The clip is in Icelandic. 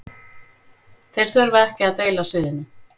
Þeir þurfa ekki að deila sviðinu